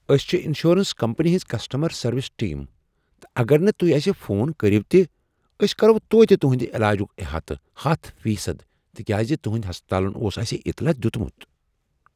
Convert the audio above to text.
أسۍ چھ insurance company ہٕنٛز کسٹمر سروس ٹیم تہٕ اگر نہٕ تہۍ اسہ فون کٔرو تہ، أسۍ کرو توتہ تہنٛد علاجُک احاطہٕ ہتھَ فی صد تکیاز تہنٛدۍ ہسپتالن اٗوس اسہ اطلاع دیتمت